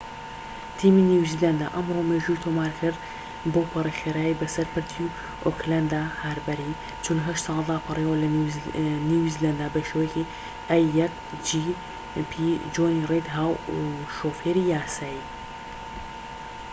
جۆنی ڕید هاو شۆفێری a1gp تیمی نیوزلەندە ئەمڕۆ مێژووی تۆمار کرد بەوپەڕی خێرایی بەسەر پردی ئۆکلەند هاربەری ٤٨ ساڵەدا پەڕیەوە لە نیوزیلەندە بە شێوەیەکی یاسایی